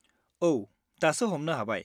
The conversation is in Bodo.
औ, दासो हमनो हाबाय।